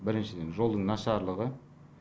біріншіден жолдың нашарлығы